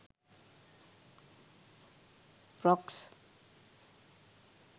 frocks